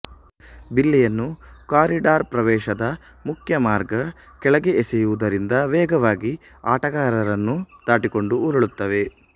ಬಿಲ್ಲೆಯನ್ನು ಕಾರಿಡರ್ಪ್ರವೇಶದ ಮುಖ್ಯ ಮಾರ್ಗ ಕೆಳಗೆ ಎಸೆಯುವುದರಿಂದ ವೇಗವಾಗಿ ಆಟಗಾರರನ್ನು ದಾಟಿಕೊಂಡು ಉರುಳುತ್ತವೆ